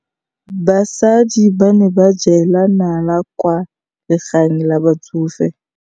Basadi ba ne ba jela nala kwaa legaeng la batsofe.